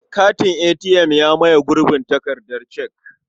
Katin ATM ya maye gurbin takardar cek.